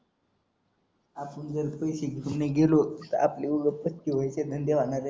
आपण जर पैसे घेऊन नाही गेलो तर आपले उगाच थक्के व्हायचे धंदे होणार आहेत